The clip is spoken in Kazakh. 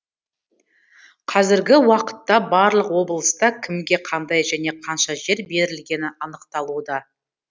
қазіргі уақытта барлық облыста кімге қандай және қанша жер берілгені анықталуда